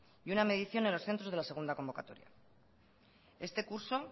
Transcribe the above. y una medición en los centros de la segunda convocatoria este curso